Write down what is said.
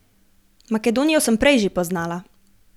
Makedonijo sem prej že poznala.